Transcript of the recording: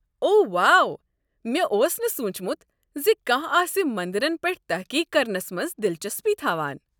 اوہ واہ، مےٚ اوس نہٕ سوٗنٛچمت ز کانٛہہ آسہ مندرن پٮ۪ٹھ تحقیق کرنس منٛز دلچسپی تھاوان۔